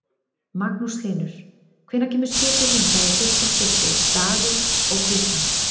Magnús Hlynur: Hvenær kemur skipið hingað í fyrsta skiptið, dagur og klukkan?